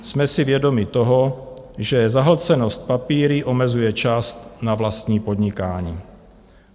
Jsme si vědomi toho, že zahlcenost papíry omezuje čas na vlastní podnikání.